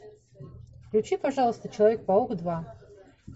включи пожалуйста человек паук два